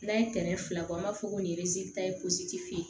N'an ye tɛrɛn fila bɔ an b'a fɔ ko nin ta ye fe yen